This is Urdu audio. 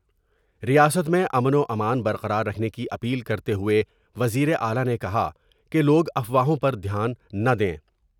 ریاست میں امن وامان برقراررکھنے کی اپیل کرتے ہوۓ وزیر اعلی نے کہا کہ لوگ افواوہوں پر دھیان نہ دیں ۔